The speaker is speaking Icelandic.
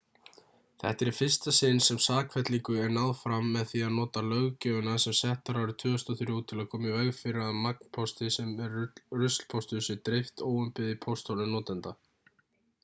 þetta er í fyrsta sinn sem sakfellingu er náð fram með því að nota löggjöfina sem sett var árið 2003 til að koma í veg fyrir að magnpósti sem er ruslpóstur sé dreift óumbeðið í pósthólf notenda